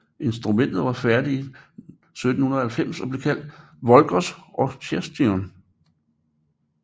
Instrumentet var færdig i 1790 og blev kaldt Voglers orchestrion